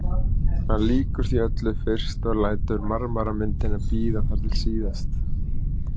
Hún lýkur því öllu fyrst og lætur marmaramyndina bíða þar til síðast.